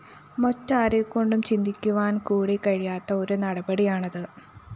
മറ്റാരെക്കൊണ്ടും ചിന്തിക്കുവാന്‍കൂടി കഴിയാത്ത ഒരു നടപടിയാണത്